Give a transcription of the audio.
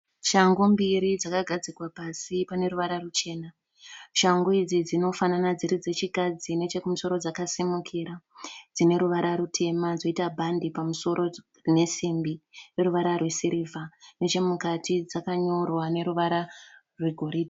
Shangu mbirir dzakagadzikwa pasi Paneruvara ruchena. Shangu idzi dzinofanana dziri dzechikadzi ,nechekumusoro dzakasimukira dzoita bhandi pamusoro resimbi ineruvara rwesiriva, nechemukati dzakanyorwa neruvara rwe goride.